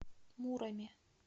муроме